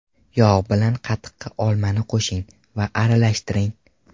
Yog‘ bilan qatiqqa olmani qo‘shing va aralashtiring.